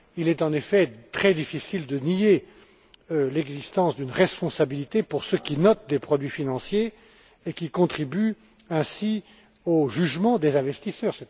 Il est en effet très difficile de nier l'existence d'une responsabilité pour ceux qui notent des produits financiers et qui contribuent ainsi au jugement des investisseurs.